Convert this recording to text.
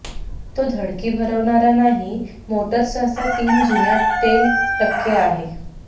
तो धडकी भरवणारा नाही मोटर सहसा तीन जुन्या तेल टक्के आहे